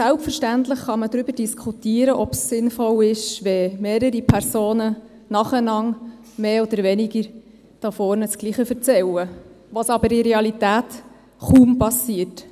Selbstverständlich kann man darüber diskutieren, ob es sinnvoll ist, wenn mehrere Personen nacheinander mehr oder weniger hier vorne dasselbe erzählen, was in der Realität aber kaum geschieht.